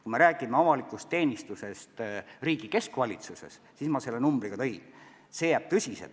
Kui me räägime avalikust teenistusest riigi keskvalitsuses, siis selle numbri ma ka tõin.